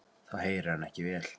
Þá heyrir hann ekki vel.